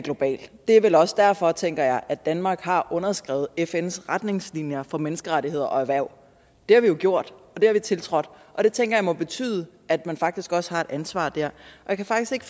global det er vel også derfor tænker jeg at danmark har underskrevet fns retningslinjer for menneskerettigheder og erhverv det har vi jo gjort det har vi tiltrådt og det tænker jeg må betyde at man faktisk også har et ansvar der jeg kan faktisk ikke